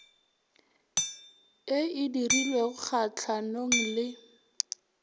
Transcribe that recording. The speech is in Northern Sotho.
e e dirilweng kgatlhanong le